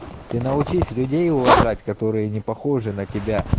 ты научись людей уважать которые не похожи на тебя